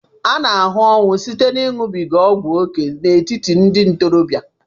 A na-ahụkarị ọnwụ site ịṅụbiga ọgwụ ókè n'etiti ndị ntorobịa